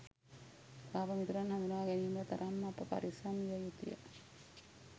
පාප මිතුරන් හඳුනා ගැනීමට තරම් අප පරිස්සම් විය යුතුය.